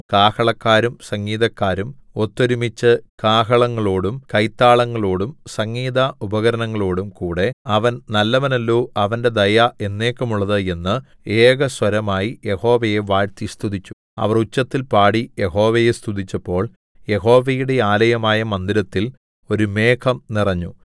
കാഹളക്കാരും സംഗീതക്കാരും ഒത്തൊരുമിച്ചു കാഹളങ്ങളോടും കൈത്താളങ്ങളോടും സംഗീത ഉപകരണങ്ങളോടും കൂടെ അവൻ നല്ലവനല്ലോ അവന്റെ ദയ എന്നേക്കുമുള്ളത് എന്ന് ഏകസ്വരമായി യഹോവയെ വാഴ്ത്തി സ്തുതിച്ചു അവർ ഉച്ചത്തിൽ പാടി യഹോവയെ സ്തുതിച്ചപ്പോൾ യഹോവയുടെ ആലയമായ മന്ദിരത്തിൽ ഒരു മേഘം നിറഞ്ഞു